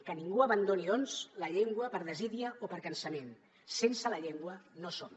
que ningú abandoni doncs la llengua per desídia o per cansament sense la llengua no som